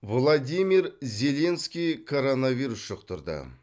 владимир зеленский коронавирус жұқтырды